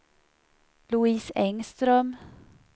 Louise Engström